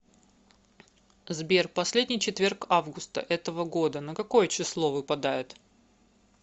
сбер последний четверг августа этого года на какое число выпадает